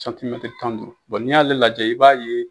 tan ni duuru, n'i y'ale lajɛ i b'a ye.